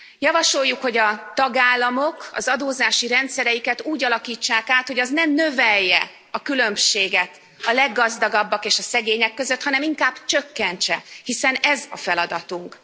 Javasoljuk, hogy a tagállamok az adózási rendszereiket úgy alakítsák át, hogy az ne növelje a különbséget a leggazdagabbak és a szegények között, hanem inkább csökkentse, hiszen ez a feladatunk.